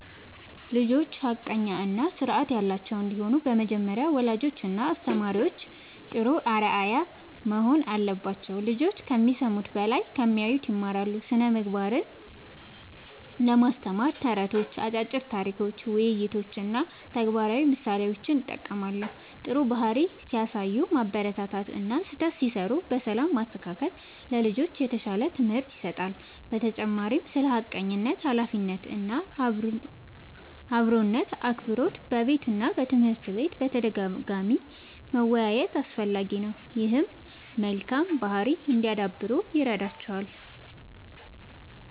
ልጆች ሐቀኛ እና ስርዓት ያላቸው እንዲሆኑ በመጀመሪያ ወላጆችና አስተማሪዎች ጥሩ አርአያ መሆን አለባቸው። ልጆች ከሚሰሙት በላይ ከሚያዩት ይማራሉ። ስነ ምግባርን ለማስተማር ተረቶች፣ አጫጭር ታሪኮች፣ ውይይቶች እና ተግባራዊ ምሳሌዎችን እጠቀማለሁ። ጥሩ ባህሪ ሲያሳዩ ማበረታታት እና ስህተት ሲሠሩ በሰላም ማስተካከል ለልጆች የተሻለ ትምህርት ይሰጣል። በተጨማሪም ስለ ሐቀኝነት፣ ኃላፊነት እና አክብሮት በቤትና በትምህርት ቤት በተደጋጋሚ መወያየት አስፈላጊ ነው። ይህም መልካም ባህሪ እንዲያዳብሩ ይረዳቸዋል።